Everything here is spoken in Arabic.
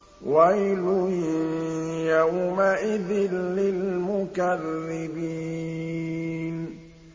وَيْلٌ يَوْمَئِذٍ لِّلْمُكَذِّبِينَ